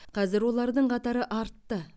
қазір олардың қатары артты